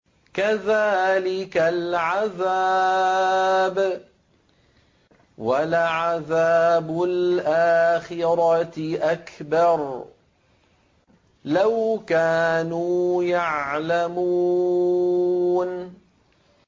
كَذَٰلِكَ الْعَذَابُ ۖ وَلَعَذَابُ الْآخِرَةِ أَكْبَرُ ۚ لَوْ كَانُوا يَعْلَمُونَ